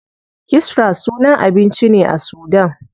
Kisra sunan abinci ne a sudan.